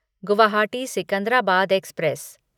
Guwahati Secunderabad express